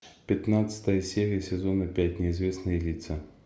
пятнадцатая серия сезона пять неизвестные лица